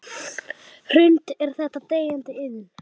Hrund: Er þetta deyjandi iðn?